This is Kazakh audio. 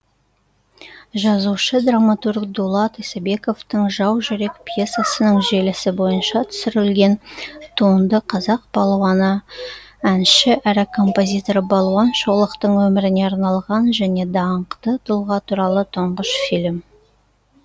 жазушы драматург дулат исабековтің жаужүрек пьесасының желісі бойынша түсірілген туынды қазақ палуаны әнші әрі композитор балуан шолақтың өміріне арналған және даңқты тұлға туралы тұңғыш фильм